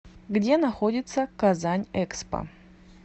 где находится казань экспо